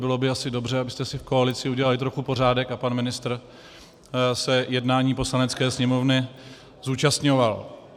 Bylo by asi dobře, abyste si v koalici udělali trochu pořádek a pan ministr se jednání Poslanecké sněmovny zúčastňoval.